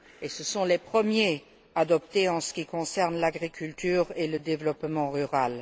Ce sont les premiers adoptés en ce qui concerne l'agriculture et le développement rural.